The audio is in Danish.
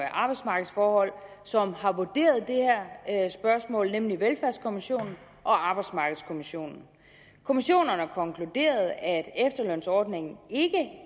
arbejdsmarkedsforhold som har vurderet det her spørgsmål nemlig velfærdskommissionen og arbejdsmarkedskommissionen kommissionerne konkluderede at efterlønsordningen ikke